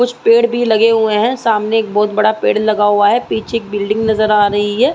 कुछ पेड़ भी लगे हुए हैं। सामने एक बहोत बड़ा पेड़ लगा हुआ है। पीछे एक बिल्डिंग नजर आ रही है।